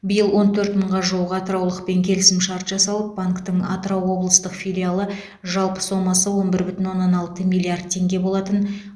биыл он төрт мыңға жуық атыраулықпен келісімшарт жасалып банктің атырау облыстық филиалы жалпы сомасы он бір бүтін оннан алты миллиард теңге болатын